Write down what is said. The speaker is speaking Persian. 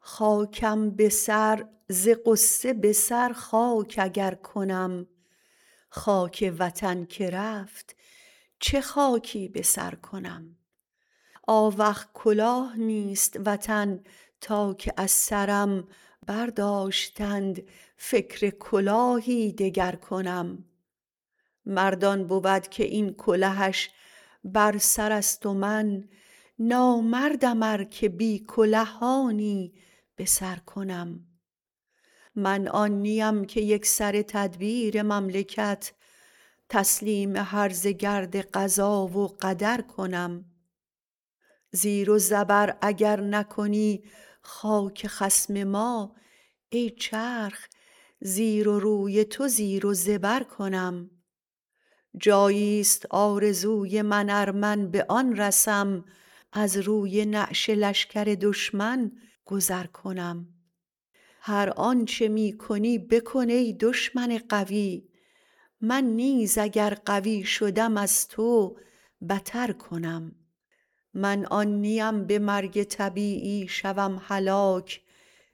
خاکم به سر ز غصه به سر خاک اگر کنم خاک وطن که رفت چه خاکی به سر کنم آوخ کلاه نیست وطن تا که از سرم برداشتند فکر کلاهی دگر کنم مرد آن بود که این کلهش بر سر است و من نامردم ار که بی کله آنی بسر کنم من آن نیم که یکسره تدبیر مملکت تسلیم هرزه گرد قضا و قدر کنم زیر و زبر اگر نکنی خاک خصم ما ای چرخ زیر و روی تو زیر و زبر کنم جاییست آرزوی من ار من به آن رسم از روی نعش لشکر دشمن گذر کنم هر آنچه می کنی بکن ای دشمن قوی من نیز اگر قوی شدم از تو بتر کنم من آن نیم به مرگ طبیعی شوم هلاک